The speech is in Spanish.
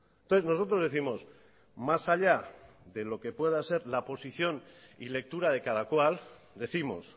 entonces nosotros décimos más allá de lo que pueda ser la posición y lectura de cada cual décimos